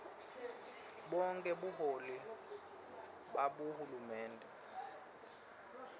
bonkhe buholi babohulumende